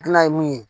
Gilan ye mun ye